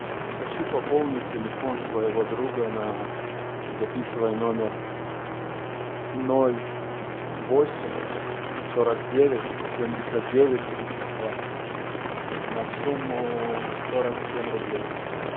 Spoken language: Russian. хочу пополнить телефон своего друга на записывай номер ноль восемь сорок девять семьдесят девять тридцать два на сумму сорок семь рублей